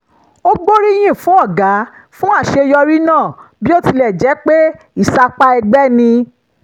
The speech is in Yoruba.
ó gbóríyìn fún ọ̀gá fún àṣeyọrí náà bí ó tilẹ̀ jẹ́ pé ìsapá ẹgbẹ́ ni